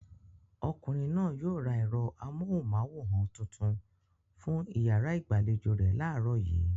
Ọkùnrin náà yóò ra ẹ̀rọ amóhùmáwòhán tuntun fún ìyàrá ìgbàlejò rẹ̀ láàárọ̀ yìí.